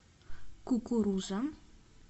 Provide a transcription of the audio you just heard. кукуруза